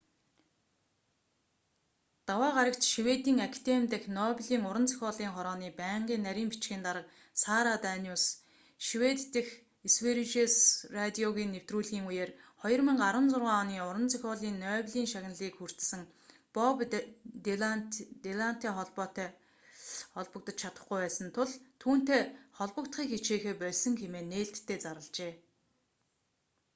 даваа гарагт шведийн академи дахь нобелийн уран зохиолын хорооны байнгын нарийн бичгийн дарга сара даниус швед дэх сверижес радиогийн нэвтрүүлгийн үеэр 2016 оны уран зохиолын нобелийн шагналыг хүртсэн боб дилантай шууд холбогдож чадахгүй байсан тул түүнтэй холбогдохыг хичээхээ больсон хэмээн нээлттэй зарлажээ